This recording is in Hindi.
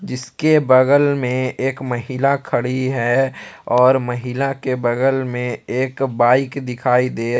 इसके बगल में एक महिला खड़ी है और महिला के बगल में एक बाइक दिखाई दे--